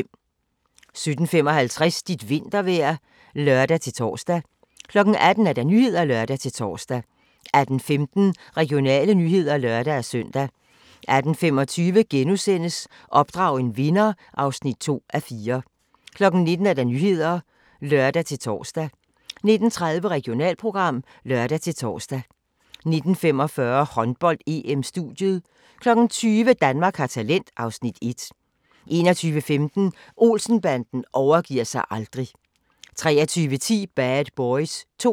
17:55: Dit vintervejr (lør-tor) 18:00: Nyhederne (lør-tor) 18:15: Regionale nyheder (lør-søn) 18:25: Opdrag en vinder (2:4)* 19:00: Nyhederne (lør-tor) 19:30: Regionalprogram (lør-tor) 19:45: Håndbold: EM - studiet 20:00: Danmark har talent (Afs. 1) 21:15: Olsen-banden overgiver sig aldrig 23:10: Bad Boys 2